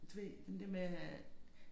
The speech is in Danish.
Du ved den der med at